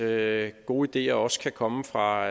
at gode ideer også kan komme fra